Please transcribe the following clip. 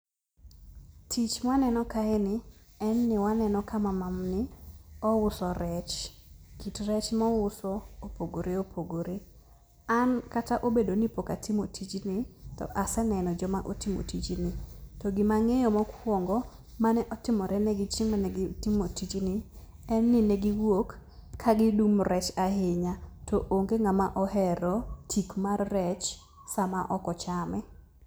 Tich maneno kaeni, en ni waneno ka mamani ouso rech. Kit rech mouso opogore opogore. An kata obedo nipok atimo tijni, to aseneno joma otimo tijni. To gima ang'eyo mokuongo, mane otimorenegi chieng' mane gitimo tijni, en ni negiwuok kagidung' rech ahinya, to onge ng'ama ohero tik mar rech sama ok ochame.